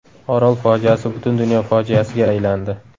Orol fojiasi butun dunyo fojiasiga aylandi.